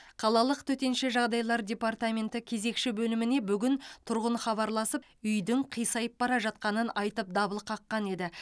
қалалық төтенше жағдайлар департаменті кезекші бөліміне бүгін тұрғын хабарласып үйдің қисайып бара жатқанын айтып дабыл қаққан еді